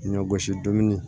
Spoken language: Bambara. Ɲɔ gosi dɔɔni